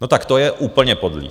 No tak to je úplně podlý.